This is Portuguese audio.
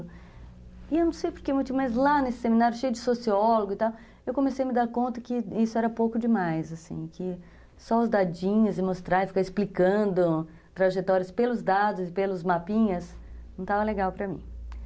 E eu não sei por que, mas lá nesse seminário cheio de sociólogo e tal, eu comecei a me dar conta que isso era pouco demais, assim, que só os dadinhas e mostrar e ficar explicando trajetórias pelos dados e pelos mapinhas não estava legal para mim.